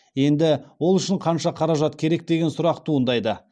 енді ол үшін қанша қаражат керек деген сұрақ туындайды